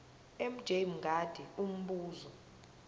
mj mngadi umbuzo